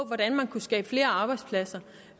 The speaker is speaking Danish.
hvordan man kunne skabe flere arbejdspladser